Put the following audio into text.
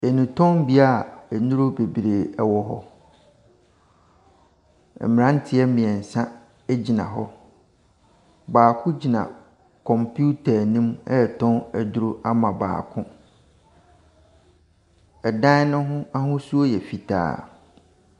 Nnurutɔnbea nnuro bebree wɔ hɔ. Mmranteɛ mmiensa gyina hɔ. Baako gyina kɔmputer anim retɔn aduro ama baako. Ɛdan no ahosuo yɛ fitaa.